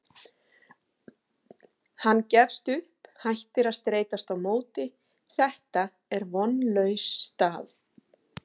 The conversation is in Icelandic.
Hann gefst upp, hættir að streitast á móti, þetta er vonlaus staða.